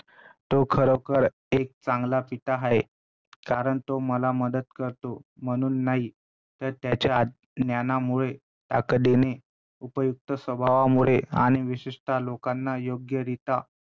तो खरोखर एक चांगला पिता आहे, कारण तो मला मदत करतो म्हणून नाही तर त्याच्या ज्ञानामुळे ताकदीने उपयुक्त स्वभावामुळे आणि विशिष्ट लोकांना योग्यरित्या